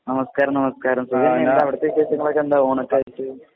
നമസ്ക്കാരം നമസ്ക്കാരം സുഖം തന്നെ എന്താ അവിടുത്തെ വിശേഷങ്ങളൊക്കെ എന്താ ഓണൊക്കെ ആയിട്ട്